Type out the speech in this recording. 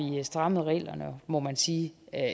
strammet reglerne må man sige